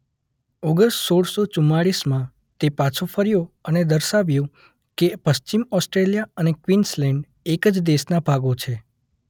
August સોળસો ચુમાલીસમાં તે પાછો ફર્યો અને દર્શાવ્યું કે પશ્ચિમ ઓસ્ટ્રેલિયા અને ક્વિન્સલેન્ડ એ એક જ દેશના ભાગો છે.